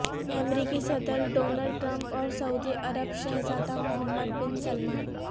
امریکی صدر Donald Trump اور سعودی عرب شہزادہ محمد بن سلمان